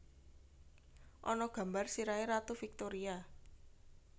Ana gambar sirahe Ratu Victoria